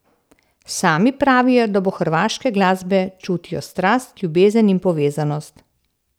Sami pravijo, da do hrvaške glasbe čutijo strast, ljubezen in povezanost.